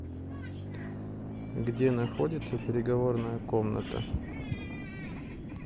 где находится переговорная комната